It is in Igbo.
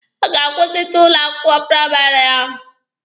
A ga-akwụsịtụ ya n'ụlọ akwụkwọ praịmarị ahụ?